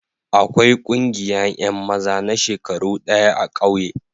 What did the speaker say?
Akwai ƙungiya yan maza na shekaru daya a'kauye.